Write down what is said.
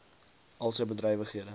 al sy bedrywighede